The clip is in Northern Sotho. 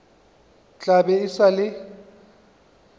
tla be e sa le